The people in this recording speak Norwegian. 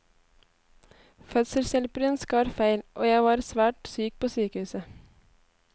Fødselshjelperen skar feil, og jeg var svært syk på sykehuset.